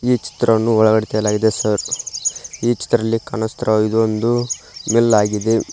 ಈ ಚಿತ್ರವನ್ನು ಒಳಗಡೆ ತೆಗೆಯಲಾಗಿದೆ ಸರ್ ಈ ಚಿತ್ರದಲ್ಲಿ ಕಾಣುತ್ತಿರುವ ಇದು ಒಂದು ಮಿಲ್ ಆಗಿದೆ.